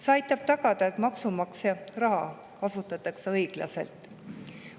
See aitab tagada, et maksumaksja raha kasutatakse õiglaselt.